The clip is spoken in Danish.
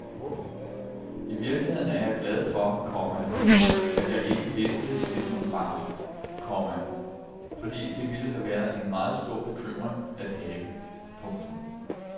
I virkeligheden er jeg glad for, komma at jeg ikke vidste det som barn, komma fordi det ville have været en meget stor bekymring at have. punktum